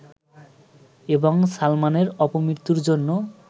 এবং সালমানের অপমৃত্যুর জন্য